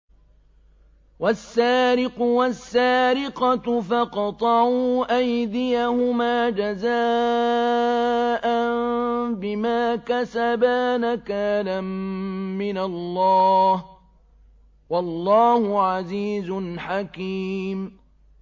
وَالسَّارِقُ وَالسَّارِقَةُ فَاقْطَعُوا أَيْدِيَهُمَا جَزَاءً بِمَا كَسَبَا نَكَالًا مِّنَ اللَّهِ ۗ وَاللَّهُ عَزِيزٌ حَكِيمٌ